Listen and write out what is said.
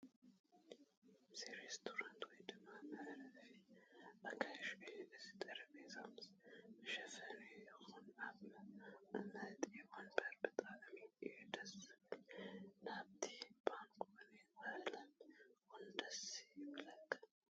እዚ ሬስቶራንት ወይ ድማ መዕረፊ ኣጋይሽ እዩ፡ እቲ ጠረጴዛ ምስ መሸፈኒኡ ይኹን እቲ መቐመጢ ወንበር ብጣዕሚ እዩ ደስ ዝብል ናይቲ ባንኮኒ ቐለም 'ውን ደስ ይብለካ ።